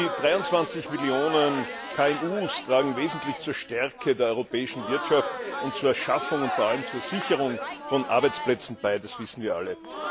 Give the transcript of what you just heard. Die 23 Millionen KMU tragen wesentlich zur Stärkung der europäischen Wirtschaft und zur Schaffung und vor allem zur Sicherung von Arbeitsplätzen bei, das wissen wir alle.